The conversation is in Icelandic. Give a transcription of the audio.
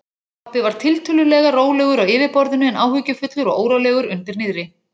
Pabbi var tiltölulega rólegur á yfirborðinu en áhyggjufullur og órólegur undir niðri.